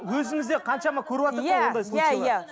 өзімізде қаншама көріватыр ғой ондай случайлар иә иә